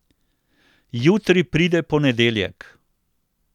Jutri pride ponedeljek.